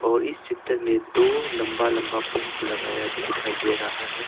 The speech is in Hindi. और इस चित्र में दो लंबा लंबा पोस लगाया दिखाई दे रहा है।